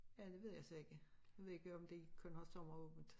Ja det ved jeg så ikke jeg vd ikke om de kun har sommeråbent